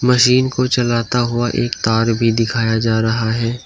Machine को चलता हुआ एक तार भी दिखाया जा रहा है।